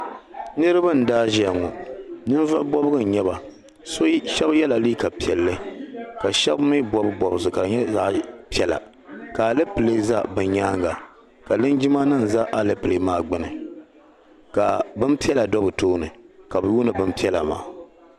Niriba n daa ziya ŋɔ ninvuɣ'bɔbigu n nyɛba so shɛba yɛla liiga piɛlli ka shɛba mii bɔbi bɔbisi ka di nyɛ zaɣ'piɛla ka alapilee za bɛ nyaaŋa ka lingimanima za alapilee maa gbuni ka bin'piɛla be bɛ tooni ka lihiri bin'piɛla maa